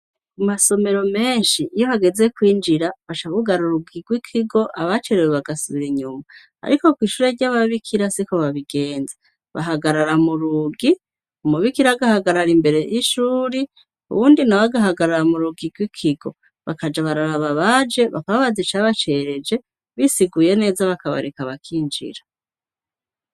U masomero menshi iyo hageze kwinjira bacabugarauraugirwe ikigo abacerewe bagasubira inyuma, ariko ko'ishure ry'ababikira si ko babigenza bahagarara mu rugi umubikiragahagarara imbere y'ishuri uwundi na bagahagarara mu rugirwe ikigo bakaja bararaba baje bakaba bazicabacereje bisiguye neza bakabareka bakinjira.